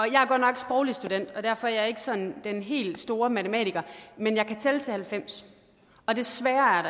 jeg er godt nok sproglig student og derfor er jeg ikke sådan den helt store matematiker men jeg kan tælle til halvfems og desværre er